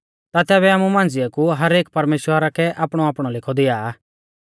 ता तैबै आमु मांझ़िऐ कु हर एक परमेश्‍वरा कै आपणौआपणौ लेखौ दिआ